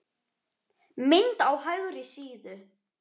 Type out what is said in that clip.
Mynd á hægri síðu.